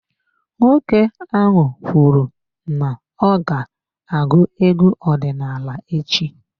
Nwoke ahụ kwuru n'ọga agụ egwu ọdinaala echi.